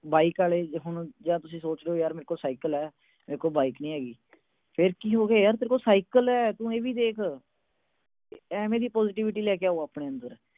Bike ਵਾਲੇ, ਤੁਸੀਂ ਸੋਚਦੇ ਆ ਯਾਰ ਮੇਰੇ ਕੋਲ ਸਾਈਕਲ ਆ। ਮੇਰੇ ਕੋਲ ਬਾਈਕ ਨੀ ਹੈਗੀ। ਫਿਰ ਕੀ ਹੋ ਗਿਆ ਤੇਰੇ ਕੋਲ ਸਾਈਕਲ ਆ, ਤੂੰ ਇਹ ਵੀ ਦੇਖ। ਇਵੇਂ ਦੀ positivity ਲੈ ਕੇ ਆਓ ਆਪਣੇ ਅੰਦਰ।